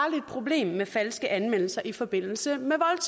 problem med falske anmeldelser i forbindelse